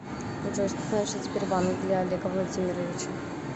джой что значит сбербанк для олега владимировича